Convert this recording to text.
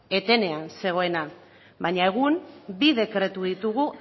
etenean zegoena baina egun bi dekretu ditugu